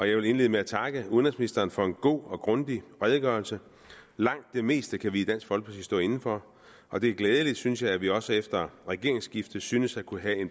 jeg vil indlede med at takke udenrigsministeren for en god og grundig redegørelse langt det meste kan vi i dansk folkeparti stå inde for og det er glædeligt synes jeg at vi også efter regeringsskiftet synes at kunne have